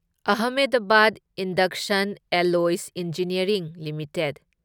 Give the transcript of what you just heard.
Ahmedabad induction alloys engineering limited